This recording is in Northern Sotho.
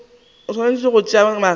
o swanetše go tšea magato